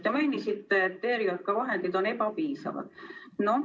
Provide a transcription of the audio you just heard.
Te mainisite, et ERJK vahendid on ebapiisavad.